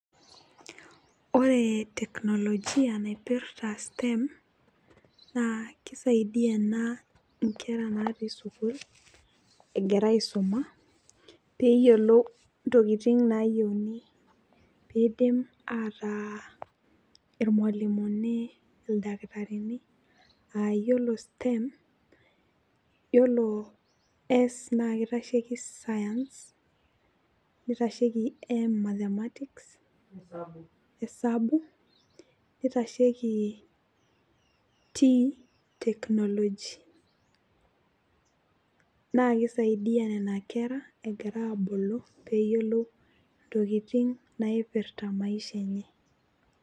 Ore technologia naipirta STEM naa keisaidia inkera naati school agira aisuma peeyiolou intokitin naayieuni peisim ataa irmalimuni ildakitarini aa yiolo STEM yiolo S naa keitasheki science neitasheki M mathematics hesabu neitasheki T technology naa keisaidia nena kera egira aabulu peeyiolou intokitin naipirta maisha enye